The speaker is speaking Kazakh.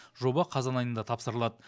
жоба қазан айында тапсырылады